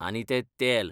आनी तें तेल!